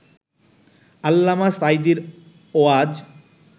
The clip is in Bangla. আল্লামা সাঈদীর ওয়াজ